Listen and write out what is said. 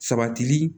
Sabatili